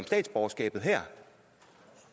statsborgerskabet